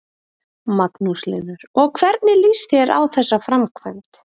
Magnús Hlynur: Og hvernig lýst þér á þessa framkvæmd?